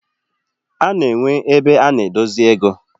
Ana enwe ebe ana edosi ego.